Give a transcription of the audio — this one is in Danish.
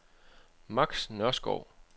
Max Nørskov